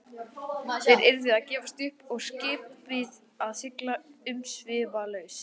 Þeir yrðu að gefast upp og skipið að sigla umsvifalaust.